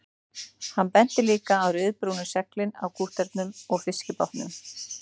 Hann benti líka á ryðbrúnu seglin á kútterunum og fiskibátunum